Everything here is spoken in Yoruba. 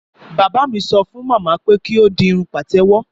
Bàbá mi sọ fún màmá pé kí ódi Irun pàtẹ́wọ́.